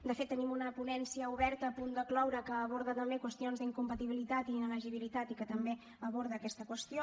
de fet tenim una ponència oberta a punt de cloure que aborda també qüestions d’incompatibilitat i inelegibilitat i que també aborda aquesta qüestió